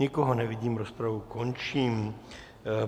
Nikoho nevidím, rozpravu končím.